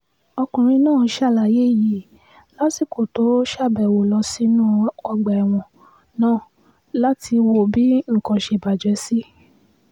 ọkùnrin náà ṣàlàyé yìí lásìkò tó ṣàbẹ̀wò lọ sínú ọgbà ẹ̀wọ̀n náà láti wo bí nǹkan ṣe bàjẹ́ sí